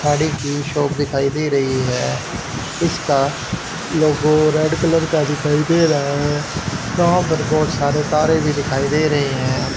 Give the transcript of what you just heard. गाड़ी की शॉप दिखाई दे रही है इसका लोगो रेड कलर का दिखाई दे रहा है वहां पर बहुत सारे तारें भी दिखाई दे रही हैं।